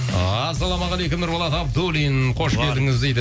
ассалаумағалейкум нұрболат абдуллин қош келдіңіз дейді